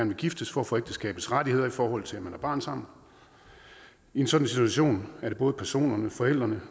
vil giftes for at få ægteskabets rettigheder i forhold til at man har barn sammen i en sådan situation er både personerne forældrene